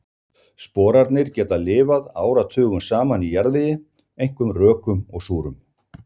Sporarnir geta lifað áratugum saman í jarðvegi, einkum rökum og súrum.